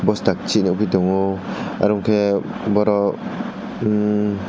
bw stackchi nugui tongo oroke borok emm--